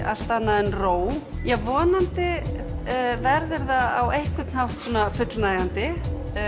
allt annað en ró vonandi verður það á einhvern hátt fullnægjandi